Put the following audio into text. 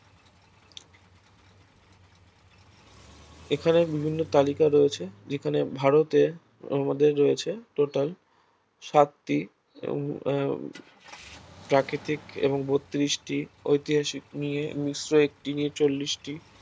এখানে বিভিন্ন তালিকায় রয়েছে যেখানে ভারতে আমাদের রয়েছে total সাতটি উম আহ প্রাকৃতিক এবং বত্রিশটি ঐতিহাসিক নিয়ে মিশ্র একটি নিয়ে চল্লিশটি